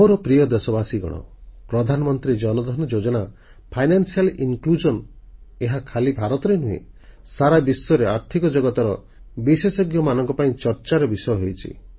ମୋର ପ୍ରିୟ ଦେଶବାସୀଗଣ ପ୍ରଧାନମନ୍ତ୍ରୀ ଜନଧନ ଯୋଜନା ଫାଇନାନ୍ସିଆଲ୍ ଇନକ୍ଲୁଜନ ଏହା ଖାଲି ଭାରତରେ ନୁହେଁ ସାରା ବିଶ୍ୱରେ ଆର୍ଥିକ ଜଗତର ବିଶେଷଜ୍ଞମାନଙ୍କ ପାଇଁ ଚର୍ଚ୍ଚାର ବିଷୟ ହୋଇଛି